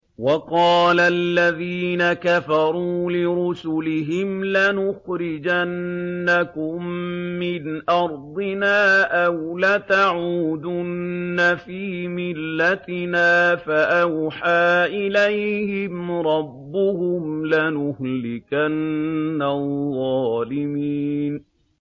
وَقَالَ الَّذِينَ كَفَرُوا لِرُسُلِهِمْ لَنُخْرِجَنَّكُم مِّنْ أَرْضِنَا أَوْ لَتَعُودُنَّ فِي مِلَّتِنَا ۖ فَأَوْحَىٰ إِلَيْهِمْ رَبُّهُمْ لَنُهْلِكَنَّ الظَّالِمِينَ